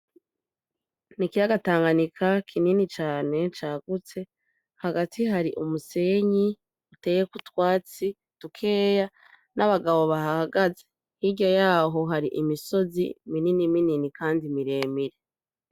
N'ikiyaga Tanganyika kinini cane cagutse hagati hari umusenyi uteyeko utwatsi dukeya n'abagabo bahahagaze hirya yaho hari imisozi mininiminini kandi miremire.